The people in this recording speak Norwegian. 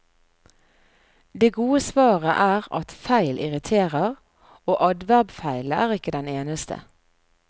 Det gode svaret er at feil irriterer, og adverbfeilen er ikke den eneste.